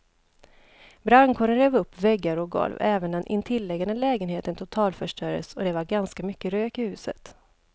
Brandkåren rev upp väggar och golv, även den intilliggande lägenheten totalförstördes och det var ganska mycket rök i huset.